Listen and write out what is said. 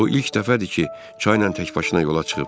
O ilk dəfədir ki, çaynan təkbaşına yola çıxıb.